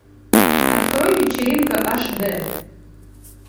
открой вечеринка аш дэ